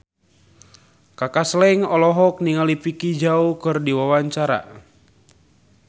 Kaka Slank olohok ningali Vicki Zao keur diwawancara